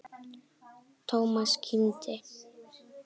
Thomas kímdi.